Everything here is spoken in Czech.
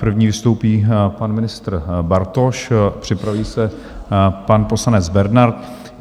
První vystoupí pan ministr Bartoš, připraví se pan poslanec Bernard.